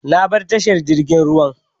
Ya bar tashan jirgin ruwan.